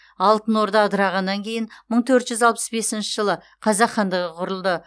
алтын орда ыдырағаннан кейін мың төрт жүз алпыс бесінші жылы қазақ хандығы құрылды